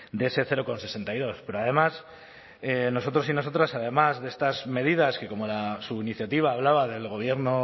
de ese cero coma sesenta y dos pero además nosotros y nosotras además de estas medidas que como su iniciativa hablaba del gobierno